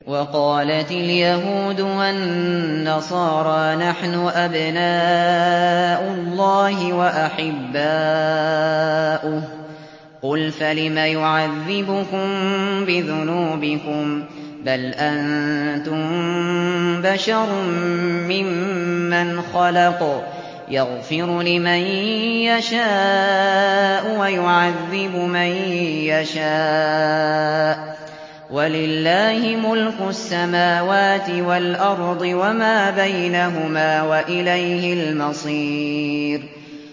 وَقَالَتِ الْيَهُودُ وَالنَّصَارَىٰ نَحْنُ أَبْنَاءُ اللَّهِ وَأَحِبَّاؤُهُ ۚ قُلْ فَلِمَ يُعَذِّبُكُم بِذُنُوبِكُم ۖ بَلْ أَنتُم بَشَرٌ مِّمَّنْ خَلَقَ ۚ يَغْفِرُ لِمَن يَشَاءُ وَيُعَذِّبُ مَن يَشَاءُ ۚ وَلِلَّهِ مُلْكُ السَّمَاوَاتِ وَالْأَرْضِ وَمَا بَيْنَهُمَا ۖ وَإِلَيْهِ الْمَصِيرُ